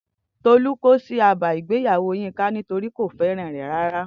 Tolu ko si aba igbeyawo Yinka, nitori ko feran re rara.